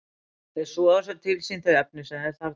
Þeir soga svo til sín þau efni sem þeir þarfnast.